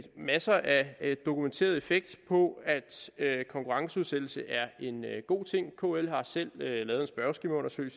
masser af dokumenteret effekt på at konkurrenceudsættelse er en god ting kl har selv lavet